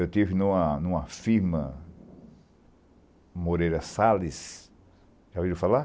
Eu estive em uma em uma firma, Moreira Salles, já ouviu falar?